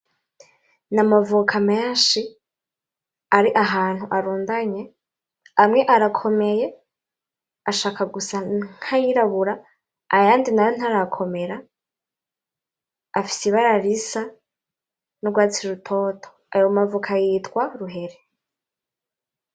Ni amavoka menshi ari ahantu arundanye amwe arakomeye ashaka gusa nkayirabura ayandi nayo ntarakomera afise ibara risa n'ugwatsi rutoto ayo mavoka yitwa ruhere.